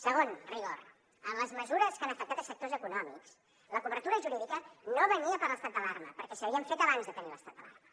segon rigor en les mesures que han afectat sectors econòmics la cobertura jurídica no venia per l’estat d’alarma perquè s’havien fet abans de tenir l’estat d’alarma